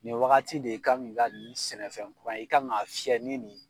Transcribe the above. Nin wagati de i kan k'i ka n sɛnɛfɛn kura i kan k'a fiyɛ ni ni